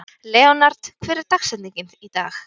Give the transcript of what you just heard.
Leonhard, hver er dagsetningin í dag?